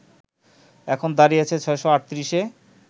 এখন দাড়িয়েছে ৬৩৮ এ